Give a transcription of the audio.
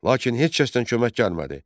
lakin heç kəsdən kömək gəlmədi.